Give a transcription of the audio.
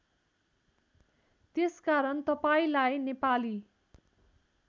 त्यसकारण तपाईँलाई नेपाली